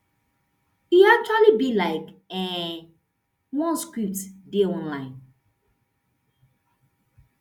e actually be like um one script dey online